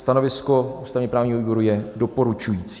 Stanovisko ústavně-právního výboru je doporučující.